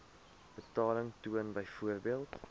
betaling toon byvoorbeeld